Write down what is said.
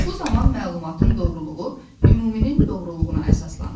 Bu zaman məlumatın doğruluğu ümuminin doğruluğuna əsaslanır.